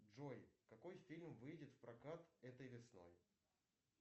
джой какой фильм выйдет в прокат этой весной